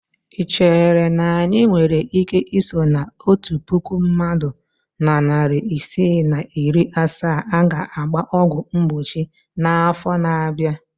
Ị chere na anyị nwere ike iso na otu puku mmadụ na narị isii na iri asaa a ga-agba ọgwụ mgbochi n'afọ na-abịa?